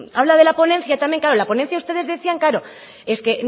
habla de la ponencia también claro en la ponencia ustedes decían claro es que